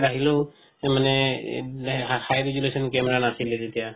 আহিলেও মানে high resolution camera নাছিলে তেতিয়া